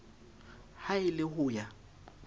ha e le ho ya